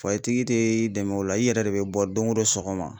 tigi tɛ i dɛmɛ o la i yɛrɛ de bɛ bɔ don o don sɔgɔma.